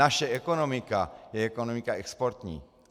Naše ekonomika je ekonomika exportní.